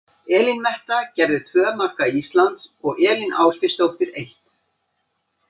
Elín Metta gerði tvö marka Íslands og Katrín Ásbjörnsdóttir eitt.